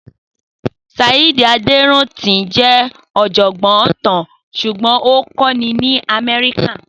Saheed Aderinto jẹ́ ọ̀jọ̀gbọ́n ìtàn ṣùgbọ́n ó ń kọ́ni ní America.